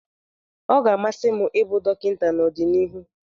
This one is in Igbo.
Ọ ga-amasị m ịbụ dọkịta n'ọdịnihu.